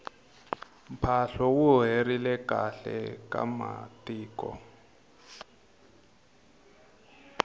mphahlu wu herile khale ka matiko